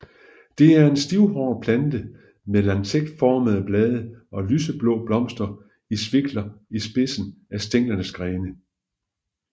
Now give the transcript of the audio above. Det er en stivhåret plante med lancetformede blade og lyseblå blomster i svikler i spidsen af stænglens grene